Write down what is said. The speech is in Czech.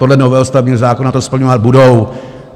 Podle novely stavebního zákona to splňovat budou.